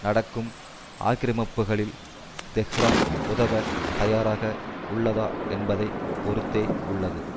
நடக்கும் ஆக்கிரமிப்புக்களில் தெஹ்ரான் உதவ தயாராக உள்ளதா என்பதை பொறுத்தே உள்ளது